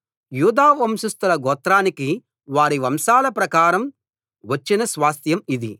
యూదా వంశస్థుల గోత్రానికి వారి వంశాల ప్రకారం వచ్చిన స్వాస్థ్యం ఇది